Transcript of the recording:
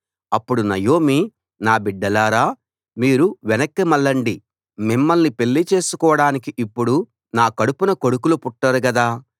అప్పుడు నయోమి నా బిడ్డలారా మీరు వెనక్కి మళ్ళండి మిమ్మల్ని పెళ్ళి చేసుకోడానికి ఇప్పుడు నా కడుపున కొడుకులు పుట్టరు గదా